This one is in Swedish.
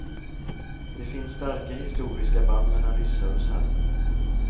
Det finns starka historiska band mellan ryssar och serber.